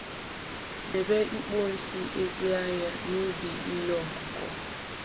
Debe ikpo nsị ezi anya nsị ezi anya na ubi ihe ọkụkụ.